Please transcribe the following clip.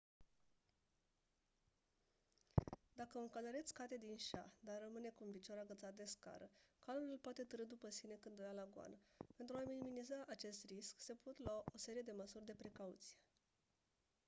dacă un călăreț cade din șa dar rămâne cu un picior agățat de scară calul îl poate târî după sine când o ia la goană pentru a minimiza acest risc se pot lua o serie de măsuri de precauție